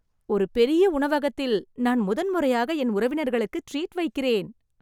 ஒரு பெரிய உணவகத்தில் நான் முதன்முறையாக என் உறவினர்களுக்கு ட்ரீட் வைக்கிறேன்